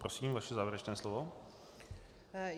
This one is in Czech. Prosím vaše závěrečné slovo.